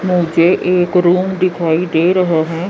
मुझे एक रूम दिखी दे रहा है।